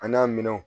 An n'a minɛnw